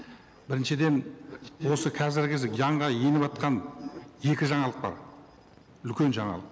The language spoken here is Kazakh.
біріншіден осы қазіргі кезде жанға еніватқан екі жаналық бар үлкен жаңалық